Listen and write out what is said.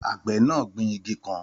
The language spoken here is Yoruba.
Àgbẹ̀ náà gbin igi kan